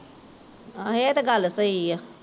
ਆਹੋ ਏਹ ਤੇ ਗੱਲ ਸਹੀ ਆ